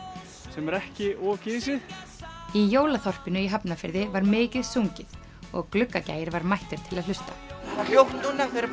sem er ekki of gisið í jólaþorpinu í Hafnarfirði var mikið sungið og Gluggagægir var mættur til að hlusta hafa hljótt núna þau eru